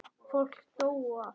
Fólk dó og allt.